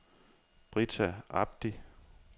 Brita Abdi